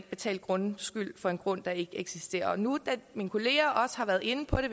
betale grundskyld for en grund der ikke eksisterer nu da mine kolleger også har været inde på det